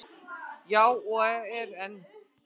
Já, og er enn.